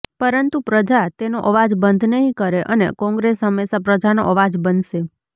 પરંતુ પ્રજા તેનો અવાજ બંધ નહીં કરે અને કોંગ્રેસ હંમેશાં પ્રજાનો અવાજ બનશે